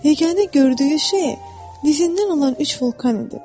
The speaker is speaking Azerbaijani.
Yeganə gördüyü şey dizindən olan üç vulkan idi.